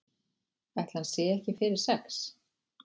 Ætli hann sé ekki fyrir sex?